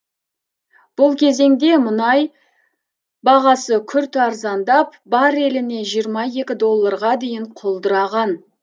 бұл кезеңде мұнай бағасы күрт арзандап барреліне жиырма екі долларға дейін құлдыраған